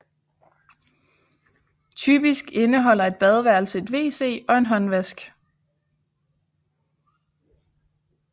Typisk indeholder et badeværelse et wc og en håndvask